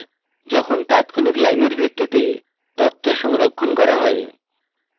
যখন তাৎক্ষণিক লাইনের ভিত্তিতে তথ্য সংরক্ষণ করা হয়